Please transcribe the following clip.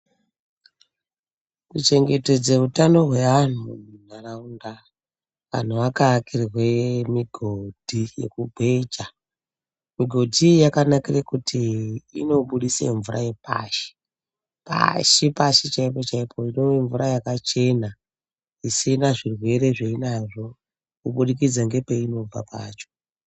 Kuchengetedze utano hweanhu munharaunda ,anhu akaikirwe migodhi yekugweja .Migodhi iyi yakanakire kuti inobudise mvura yepashi ,pasi pashi chaipo chaipo !Itori mvura yakachena isina zvirwere zvainazvo kuburikidza ngepainobva pacho .